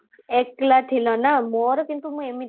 ଏକଲା ଥିଲ ନା ମୋର କିନ୍ତୁ ମୁଁ